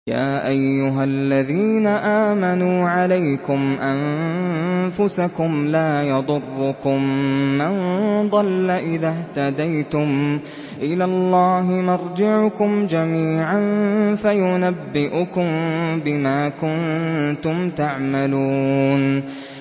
يَا أَيُّهَا الَّذِينَ آمَنُوا عَلَيْكُمْ أَنفُسَكُمْ ۖ لَا يَضُرُّكُم مَّن ضَلَّ إِذَا اهْتَدَيْتُمْ ۚ إِلَى اللَّهِ مَرْجِعُكُمْ جَمِيعًا فَيُنَبِّئُكُم بِمَا كُنتُمْ تَعْمَلُونَ